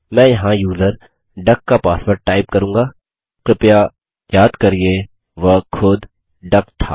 मैं यहाँ user duck का पासवर्ड टाइप करूँगा कृपया याद करिये वह खुद डक था